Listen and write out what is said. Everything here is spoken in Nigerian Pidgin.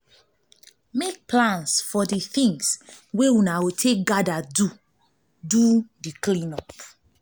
make plans for di things wey una go take do di clean-up